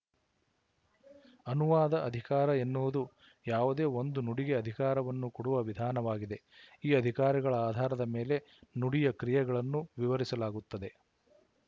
ಅನುವಾದ ಅಧಿಕಾರ ಎನ್ನುವುದು ಯಾವುದೇ ಒಂದು ನುಡಿಗೆ ಅಧಿಕಾರವನ್ನು ಕೊಡುವ ವಿಧಾನವಾಗಿದೆ ಈ ಅಧಿಕಾರಗಳ ಆಧಾರದ ಮೇಲೆ ನುಡಿಯ ಕ್ರಿಯೆಗಳನ್ನು ವಿವರಿಸಲಾಗುತ್ತದೆ